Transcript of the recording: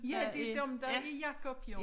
Ja det dem der er Jacob jo